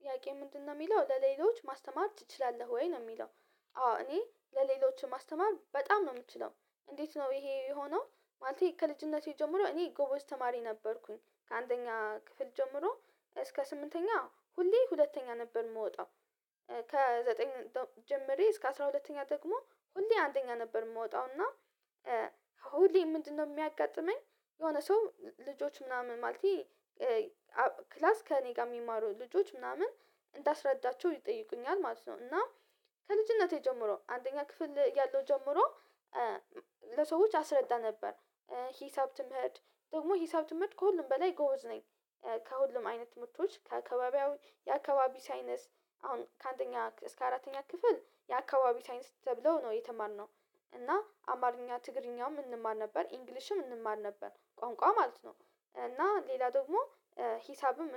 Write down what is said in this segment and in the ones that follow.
ጥያቄ ምንድነው የሚለው ለሌሎች ማስተማር ትችላለህ ወይ ነው የሚለው? አዎ እኔ ለሌሎች ማስተማር በጣም ነው የምትችለው። እንዴት ነው ይሄ የሆነው? ማለት ከልጅነቴ ጀምሮ እኔ ጎበዝ ተማሪ ነበርኩኝ ከአንተኛ ክፍል ጀምሮ እስከ ስምንተኛ ሁሌ ሁለተኛ ነበር የምወጣው። ከዘጠኝ ጀምሬ እስከ አስራ ሁለተኛ ደግሞ ሁሌ አንደኛ ነበር የምወጣው እና። ሁሌ ምንድነው የሚያጋጥመኝ የሆነ ሰው ልጆች ምናምን ማለቴ። ክላስ ከእኔ ጋር የሚማሩ ልጆች ምናምን እንዳስረዳቸው ይጠይቁኛል ማለት ነው። እና ከልጅነቴ ጀምሮ አንደኛ ክፍል ያለው ጀምሮ ለሰዎች አስረዳ ነበር። ሂሳብ ትምህርት ደግሞ ሂሳብ ትምህርት ከሁሉም በላይ ጎበዝ ነኝ። ከሁሉም አይነት ትምህርቶች የአካባቢ ሳይነስ አሁን ከአንደኛ እስከ አራተኛ ክፍል የአካባቢ ሳይንስ ተብለው ነው የተማርነው። እና አማርኛ ትግርኛም እንማር ነበር ኢንግሊሽም እንማር ነበር ቋንቋ ማለት ነው። እና ሌላ ደግሞ ሂሳብም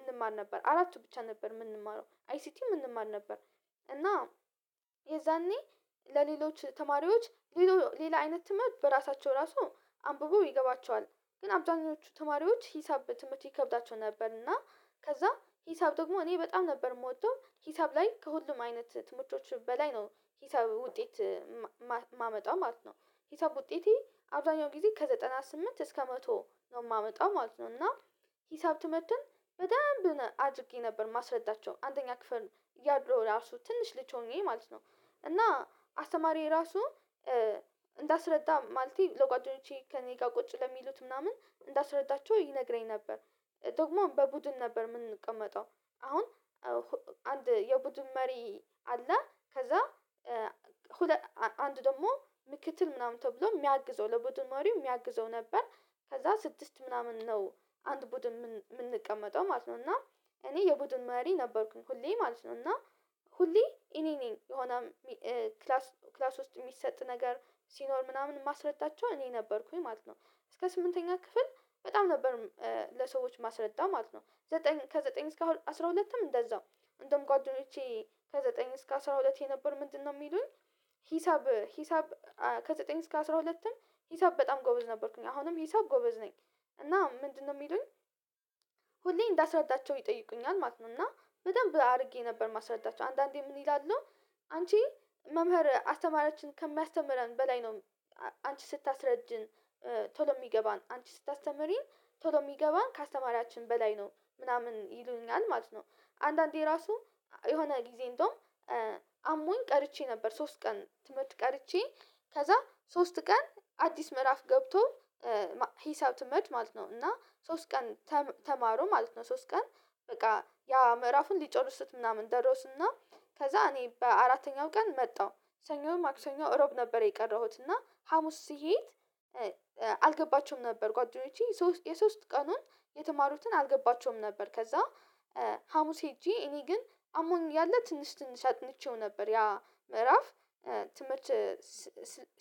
እንማር ነበር አራቱ ብቻ ነበር የምንማረው አይሲቲ እንማር ነበር። እና የዛኔ ለሌሎች ተማሪዎች ሌላ አይነት ትምህርት በራሳቸው ራሱ አንብበው ይገባቸዋል። ግን አብዛኞቹ ተማሪዎች ሂሳብ በትምህርት ይከብዳቸው ነበር እና ከዛ ሂሳብ ደግሞ እኔ በጣም ነበር የምወደው። ሂሳብ ላይ ከሁሉም አይነት ትምህርቶች በላይ ነው ሂሳብ ውጤት ማመጣው ማለት ነው። ሂሳብ ውጤቴ አብዛኛው ጊዜ ከዘጠና ስምንት እስከ መቶ ነው የማመጣው ማለት ነው። እና ሂሳብ ትምህርትን በደንብ አድርጌ ነበር ማስረዳቸው አንደኛ ክፍል እያለሁ ራሱ ትንሽ ልጅ ሆኜ ማለት ነው። እና አስተማሪ ራሱ እንዳስረዳ ማለቴ ለጓደኖቼ ከእኔ ጋር ቁጭ ለሚሉት ምናምን እንዳስረዳቸው ይነግረኝ ነበር። ደግሞ በቡድን ነበር የምንቀመጠው። አሁን አንድ የቡድን መሪ አለ ከዛ አንድ ደግሞ ምክትል ምናምን ተብሎ የሚያግዘው ለቡድን መሪው የሚያግዘው ነበር። ከዛ ስድስት ምናምን ነው አንድ ቡድን የምንቀመጠው ማለት ነው። እና እኔ የቡድን መሪ ነበርኩኝ ሁሌ ማለት ነው። እና ሁሌ እኔ ነኝ የሆነ ክላስ ክላስ ውስጥ የሚሰጥ ነገር ሲኖር ምናምን ማስረዳቸው እኔ ነበርኩኝ ማለት ነው። እስከ ስምንተኛ ክፍል በጣም ነበር ለሰዎች ማስረዳው ማለት ነው። ከዘጠኝ እስከ አስራ ሁለትም እንደዛው እንደውም ጓደኞቼ ከዘጠኝ እስከ አስራ ሁለት የነበር ምንድነው የሚሉን? ሂሳብ ሂሳብ ከዘጠኝ እስከ አስራ ሁለትም ሂሳብ በጣም ጎበዝ ነበርኩኝ አሁንም ሂሳብ ጎበዝ ነኝ። እና ምንድነው የሚሉኝ ሁሌም እንዳስረዳቸው ይጠይቁኛል ማለት ነው። እና በደንብ አድርጌ ነበር ማስረጃቸው አንዳንዴ ምን ይላሉ? አንቺ መምህር አስተማሪያችን ከሚያስተምረን በላይ ነው። አንቺ ስታስረጅን ቶሎ የሚገባን አንቺ ስታስተምሪን ቶሎ የሚገባን ከአስተማሪያችን በላይ ነው ምናምን ይሉኛል ማለት ነው። አንዳንዴ ራሱ የሆነ ጊዜ እንደውም አሞኝ ቀርቼ ነበር ሶስት ቀን ትምህርት ቀርቼ። ከዛ ሶስት ቀን አዲስ ምዕራፍ ገብቶ ሂሳብ ትምህርት ማለት ነው እና ሶስት ቀን ተማሩ ማለት ነው ሶስት ቀን በቃ ያ ምዕራፉን ሊጨርሱት ምናምን ደረሱና። ከዛ እኔ በአራተኛው ቀን መጣሁ ሰኞን ማክሰኞ እሮብ ነበር የቀረሁት እና ሀሙስ ስሄድ። አልገባቸውም ነበር ጓደኞቼ የሶስት ቀኑን የተማሩትን አልገባቸውም ነበር ከዛ። ሀሙስ ሄጄ እኔ ግን አሞኝ ያለ ትንሽ ትንሽ አጥንቼው ነበር ያ ምዕራፍ ትምህርት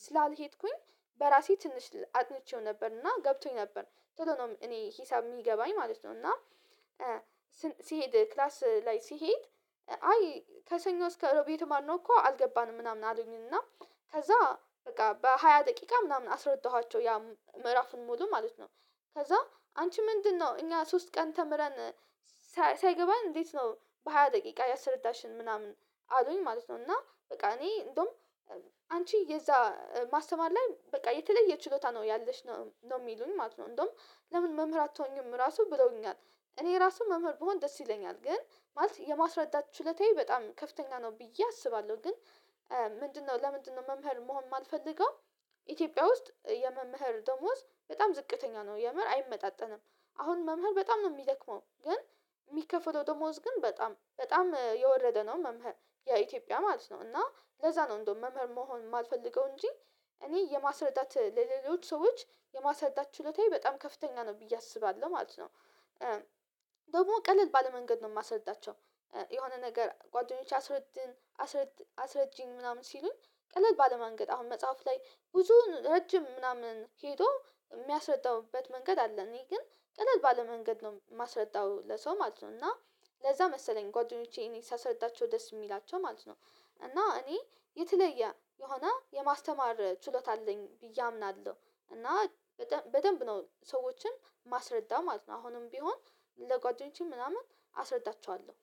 ስላልሄድኩኝ በራሴ ትንሽ አጥንቼው ነበርና ገብቶኝ ነበር። ቶሎ ነው እኔ ሂሳብ የሚገባኝ ማለት ነው። እና ሲሄድ ክላስ ላይ ሲሄድ አይ ከሰኞ እስከ እሮብ የተማርነው እኮ አልገባንም ምናምን አሉኝና ከዛ በቃ በሃያ ደቂቃ ምናምን አስረዳኋቸው ያ ምዕራፍን ሙሉ ማለት ነው። ከዛ አንቺ ምንድነው? እኛ ሶስት ቀን ተምረን ሳይገባን እንዴት ነው በሃያ ደቂቃ ያሰረዳሽን ምናምን? አሉኝ ማለት ነው። እና በቃ እኔ እንደውም አንቺ የዛ ማስተማር ላይ በቃ የተለየ ችሎታ ነው ያለሽ ነው የሚሉኝ ማለት ነው። እንደውም ለምን መምህር አትሆኚም ራሱ ብለውኛል። እኔ ራሱ መምህር ብሆን ደስ ይለኛል ግን ማለት የማስረዳት ችሎታዬ በጣም ከፍተኛ ነው ብዬ አስባለሁ ግን። ምንድነው ለምንድነው መምህር መሆን ማልፈልገው? ኢትዮጵያ ውስጥ የመምህር ደሞዝ በጣም ዝቅተኛ ነው የምር አይመጣጠንም። አሁን መምህር በጣም ነው የሚደክመው። ግን የሚከፍለው ደሞዝ ግን በጣም በጣም የወረደ ነው። መምህር የኢትዮጵያ ማለት ነው። እና ለዛ ነው እንደው መምህር መሆን የማልፈልገው እንጂ እኔ የማስረዳት ለሌሎች ሰዎች የማስረዳት ችሎታዬ በጣም ከፍተኛ ነው ብዬ አስባለሁ ማለት ነው። ደግሞ ቀለል ባለ መንገድ ነው የማስረዳቸው። የሆነ ነገር ጓደኞቼ አስረጂን ምናምን ሲሉን ቀለል ባለ መንገድ አሁን መጽሐፍ ላይ ብዙ ረጅም ምናምን ሄዶ የሚያስረዳበት መንገድ አለ። እኔ ግን ቀለል ባለመንገድ ነው የማስረዳው ለሰው ማለት ነው። እና ለዛ መሰለኝ ጓደኞቼ እኔ ሳስረዳቸው ደስ የሚላቸው ማለት ነው። እና እኔ የተለየ የሆነ የማስተማር ችሎታ አለኝ ብዬ አምናለሁ። እና በደንብ ነው ሰዎችን ማስረዳ ማለት ነው። አሁንም ቢሆን ለጓደኞቼ ምናምን አስረዳቸዋለሁ።